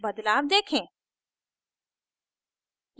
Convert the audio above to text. बदलाव देखें